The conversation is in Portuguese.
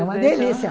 É uma delícia.